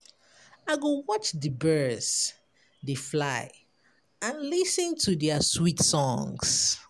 I go watch di birds dey fly and lis ten to their sweet songs.